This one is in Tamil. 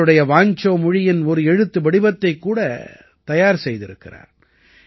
இவருடைய வாஞ்சோ மொழியின் ஒரு எழுத்துவடிவத்தைக் கூட தயார் செய்திருக்கிறார்